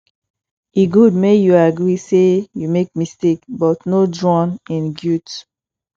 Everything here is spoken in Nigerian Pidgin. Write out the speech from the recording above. e gud mek yu agree say yu mek mistake but no drown in guilt